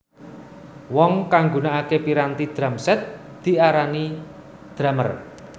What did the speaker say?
Wong kang nggunakake piranti drum set diarani drumer